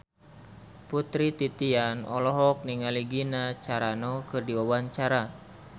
Putri Titian olohok ningali Gina Carano keur diwawancara